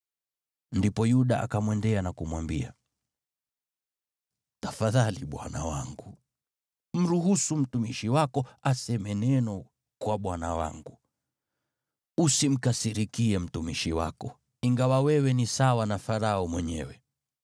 Ndipo Yuda akamwendea na kumwambia: “Tafadhali bwana wangu, mruhusu mtumishi wako aseme neno kwa bwana wangu. Usimkasirikie mtumishi wako, ingawa wewe ni sawa na Farao mwenyewe.